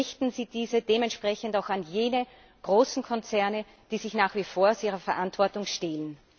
Richten Sie diese dementsprechend auch an jene großen Konzerne, die sich nach wie vor aus ihrer Verantwortung stehlen.